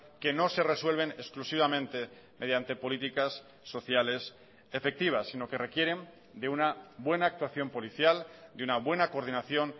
que no se resuelven exclusivamente mediante políticas sociales efectivas sino que requieren de una buena actuación policial de una buena coordinación